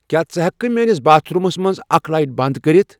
کیا ژٕ ہیکِہ کھہ میٲنس باتھ رومس منز اکھ لایٹ بند کٔرِتھ ؟